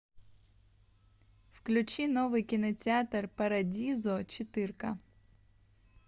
включи новый кинотеатр парадизо четырка